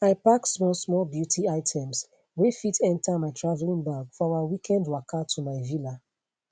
i pack smallsmall beauty items wey fit enter my travelling bag for our weekend waka to my villa